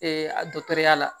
a dɔgɔtɔrɔya la